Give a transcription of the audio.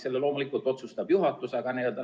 Selle loomulikult otsustab juhatus.